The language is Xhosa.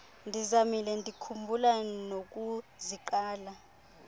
ndimzamile ndikhumbula nokuziqala